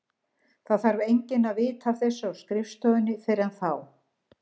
Það þarf enginn að vita af þessu á skrifstofu þinni fyrr en þá.